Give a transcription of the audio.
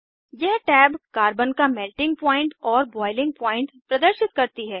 यह tab carbon का melting point और बॉइलिंग पॉइंट प्रदर्शित करती है